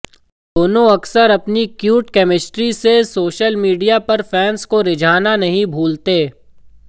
दोनों अक्सर अपनी क्यूट केमिस्ट्री से सोशल मीडिया पर फैंस को रिझाना नहीं भूलते